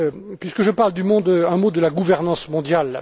Puisque je parle du monde, un mot de la gouvernance mondiale.